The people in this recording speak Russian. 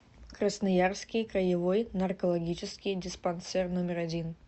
красноярский краевой наркологический диспансер номер один